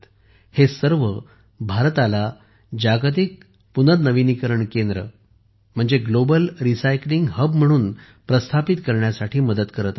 हे सर्व पर्यटन भारताला जागतिक पुनर्नविनीकरण केंद्र ग्लोबल रिसायकलिंग हब म्हणून प्रस्थापित करण्यात मदत करत आहेत